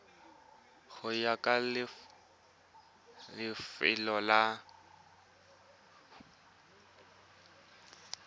go ya ka lefelo la